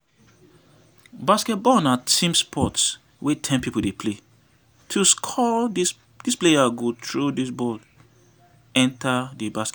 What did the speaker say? Basketball na team sport wey ten pipo dey play, to score di players go throw di ball enter di basket.